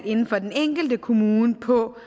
inden for den enkelte kommune på